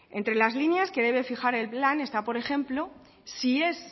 entre las líneas que debe fijar el plan está por ejemplo si es